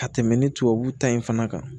Ka tɛmɛ ni tubabu ta in fana kan